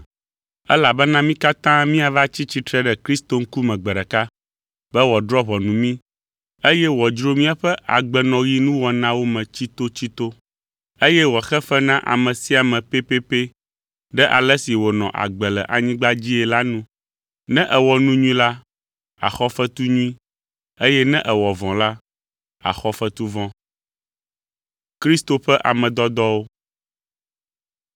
Elabena mí katã míava tsi tsitre ɖe Kristo ŋkume gbe ɖeka, be wòadrɔ̃ ʋɔnu mí, eye wòadzro míaƒe agbenɔɣinuwɔnawo me tsitotsito. Eye wòaxe fe na ame sia ame pɛpɛpɛ ɖe ale si wònɔ agbe le anyigba dzii la nu. Ne èwɔ nu nyui la, àxɔ fetu nyui eye ne èwɔ vɔ̃ la, àxɔ fetu vɔ̃.